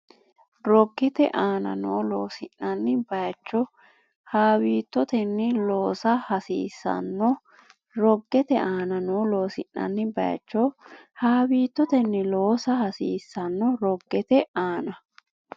Roggete aana noo loosi’nanni bayicho haawiittotenni loosa hasiis- sanno Roggete aana noo loosi’nanni bayicho haawiittotenni loosa hasiis- sanno Roggete aana.